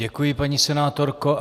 Děkuji, paní senátorko.